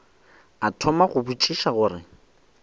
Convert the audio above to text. a thoma go botšiša gore